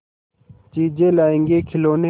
चीजें लाएँगेखिलौने